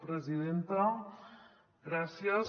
presidenta gràcies